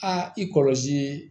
A i kɔlɔsi